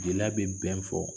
Jiliya bɛ bɛn fɔ